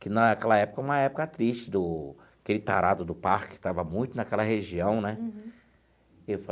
Que naquela época era uma época triste do aquele tarado do parque que estava muito naquela região né.